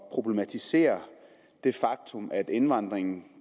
at problematisere det faktum at indvandringen